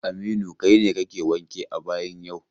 Aminu, kai ne kake wanke a bayin yau!